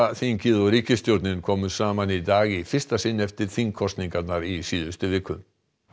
þingið og ríkisstjórnin komu saman í dag í fyrsta sinn eftir þingkosningar í síðustu viku